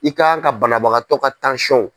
I ka kan ka banabagatɔ ka .